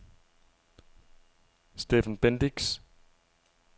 Stephen Bendix